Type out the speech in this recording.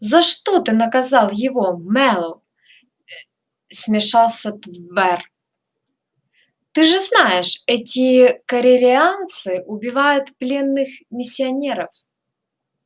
за что ты наказал его мэллоу ээ смешался твер ты же знаешь эти корелианцы убивают пленных миссионеров